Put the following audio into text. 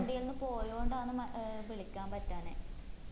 എന്റയലിന്ന് പോയൊണ്ടാന്ന് മ ഏർ വിളിക്കാൻ പറ്റാന്നെ